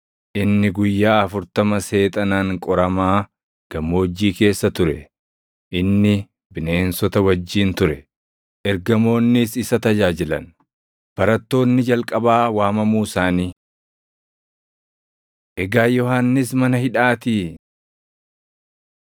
inni guyyaa afurtama Seexanaan qoramaa gammoojjii keessa ture. Inni bineensota wajjin ture; ergamoonnis isa tajaajilan. Barattoonni Jalqabaa Waamamuu Isaanii 1:16‑20 kwf – Mat 4:18‑22; Luq 5:2‑11; Yoh 1:35‑42